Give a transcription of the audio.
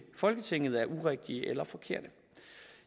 folketinget er urigtige eller forkerte